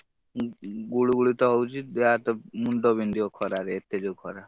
ଉଁ, ଗୁଳୁ ଗୁଳି ତ ହଉଛି ଦେହ ହାତ ମୁଣ୍ଡ ବିନ୍ଧିବ ଖରାରେ ଏତେ ଜୋରେ ଖରା।